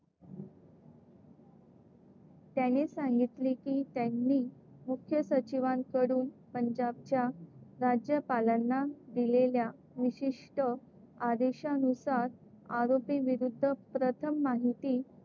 त्यांनी सांगितले की त्यांनी मुख्य सचिवांकडून पंजाबच्या राज्यपालांना दिलेल्या विशिष्ट आदेशांनुसार आरोपींविरुद्ध प्रथम माहिती,